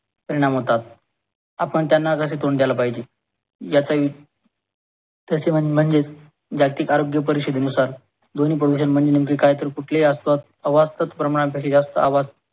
परिणाम होतात. आपण त्यांना कसे तोंड द्यायला पाहिजे. याच वी म्हणजेच जागतिक आरोग्य परीशदेनुसार ध्वनी प्रदूषण म्हणजे काय तर कुठलेही आसपास प्रमाणापेक्षा जास्त आवाज